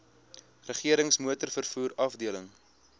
regerings motorvervoer afdeling